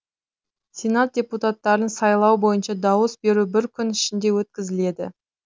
сенат депутаттарын сайлау бойынша дауыс беру бір күн ішінде өткізіледі